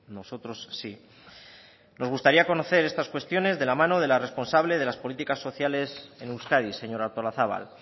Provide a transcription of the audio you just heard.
nosotros sí nos gustaría conocer estas cuestiones de la mano de la responsable de las políticas sociales en euskadi señora artolazabal